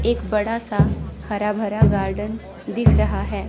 एक बड़ा सा हरा भरा गार्डन दिख रहा है।